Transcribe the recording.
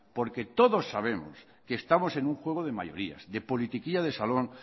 porque todos sabemos que estamos en un juego de mayorías de politiquilla de salón